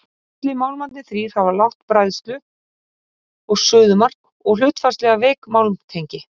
allir málmarnir þrír hafa lágt bræðslu og suðumark og hlutfallslega veik málmtengi